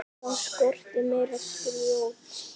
Það skorti meira grjót.